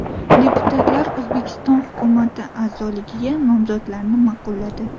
Deputatlar O‘zbekiston hukumati a’zoligiga nomzodlarni ma’qulladi.